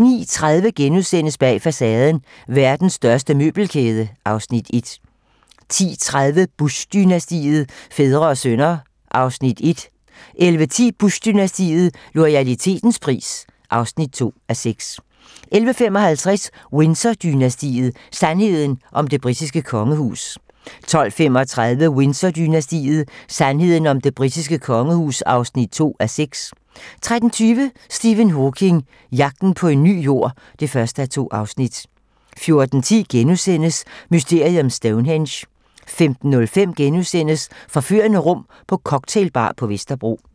09:30: Bag facaden: Verdens største møbelkæde (Afs. 1)* 10:30: Bush-dynastiet - fædre og sønner (1:6) 11:10: Bush-dynastiet - loyalitetens pris (2:6) 11:55: Windsor-dynastiet: Sandheden om det britiske kongehus 12:35: Windsor-dynastiet: Sandheden om det britiske kongehus (2:6) 13:20: Stephen Hawking: Jagten på en ny Jord (1:2) 14:10: Mysteriet om Stonehenge * 15:05: Forførende rum på cocktailbar på Vesterbro *